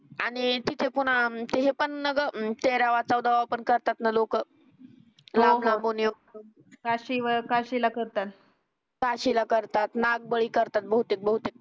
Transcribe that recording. आणि तिथे पुन्हा ते हे पण ग तेरावा चौदावा पण करतात न लोक काशी वर काशीला करतात काशीला करतात नागबळी करतात बहुतेक बहुतेक